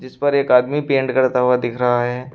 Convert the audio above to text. इस पर एक आदमी पेंट करता हुआ दिख रहा है।